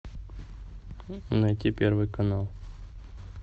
найти первый канал